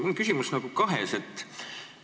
Mul on küsimus nagu kahes osas.